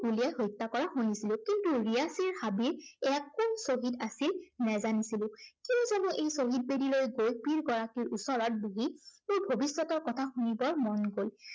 গুলীয়াই হত্য়া কৰা শুনিছিলো। কিন্তু ৰিয়াসীৰ হাবিত এইয়া কোন শ্বহীদ আছিল নেজানিছিলো। কেলেই জানো এই শ্বহীদ বেদীলৈ গৈ এই পীড় গৰাকীৰ ওচৰত বহি মোৰ ভৱিষ্য়তৰ কথা শুনিবৰ মন গল।